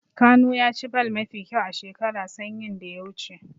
Kanu ya ci ball mafi kyau a shekara sanyin da ya wuce.